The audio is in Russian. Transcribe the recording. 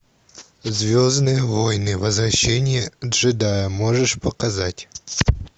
звездные войны возвращение джедая можешь показать